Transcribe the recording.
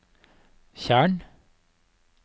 tjern